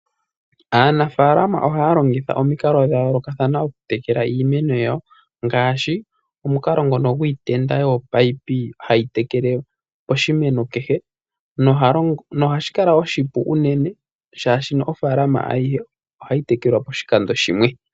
Aanafalama ohayalongitha omikalo dhayoolokathana okutekela iimeno yawo, ngaashi omukalo ngono gwiitenda yominino hayi tekele poshimeno kehe ohashikala oshipu unene shaashi ofaalama ayihe ohayitekelwa poshikando shimwe.